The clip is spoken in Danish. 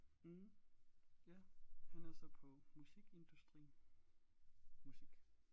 Mh ja han er så på musikindustrien musik